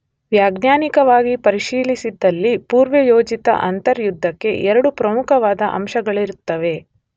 ವೈಜ್ಞಾನಿಕವಾಗಿ ಪರಿಶೀಲಿಸಿದಲ್ಲಿ ಪುರ್ವಯೋಜಿತ ಅಂತರ್ಯುದ್ಧಕ್ಕೆ ಎರಡು ಪ್ರಮುಖವಾದ ಅಂಶಗಳಿರುತ್ತವೆ.